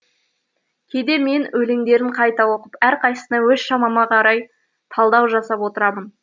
кейде мен өлеңдерін қайта оқып әрқайсысына өз шамама қарай талдау жасап отырамын